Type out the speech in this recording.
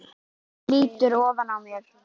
Hún lýtur ofan að mér.